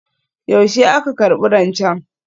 Yaushe aka karbi rancen?